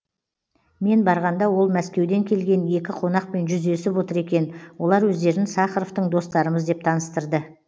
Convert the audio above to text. мен барғанда ол мәскеуден келген екі қонақпен жүздесіп отыр екен олар өздерін сахаровтың достарымыз деп таныстырды